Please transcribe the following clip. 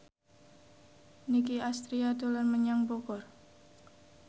Nicky Astria dolan menyang Bogor